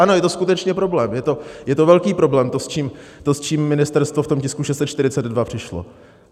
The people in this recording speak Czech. Ano, je to skutečně problém, je to velký problém, to, s čím ministerstvo v tom tisku 642 přišlo.